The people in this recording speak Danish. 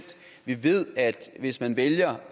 vi ved at hvis man vælger